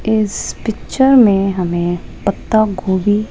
इस पिक्चर मे हमे पत्ता गोभी--